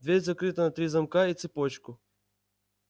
дверь закрыта на три замка и цепочку